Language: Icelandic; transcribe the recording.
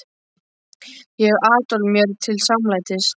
Ég hef Adolf mér til samlætis.